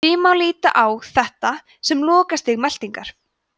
því má líta á þetta sem lokastig meltingar